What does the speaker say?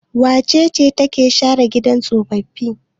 Wace ce take share gidan tsofaffi?